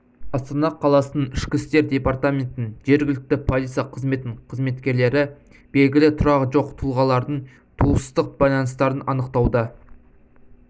астана қаласының ішкі істер департаментінің жергілікті полиция қызметінің қызметкерлері белгілі тұрағы жоқ тұлғалардың туыстық байланыстарын анықтауда